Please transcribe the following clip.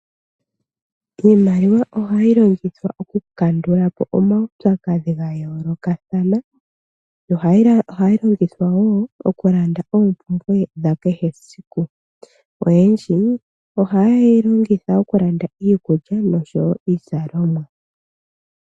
Iimaliwa ohayi longithwa oku kandulapo omaupyakadhi ga yoolokathana, nohayi longithwa woo oku landa oompumbwe dha kehe esiku. Oyendji oha yeyi longitha okulanda iikulya noshowo iizalomwa.